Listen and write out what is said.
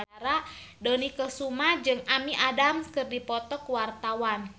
Dony Kesuma jeung Amy Adams keur dipoto ku wartawan